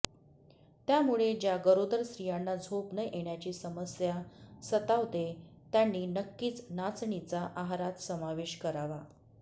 त्यामुळे ज्या गरोदर स्त्रियांना झोप न येण्याची समस्या सतावते त्यांनी नक्कीच नाचणीचा आहारात समावेश करावा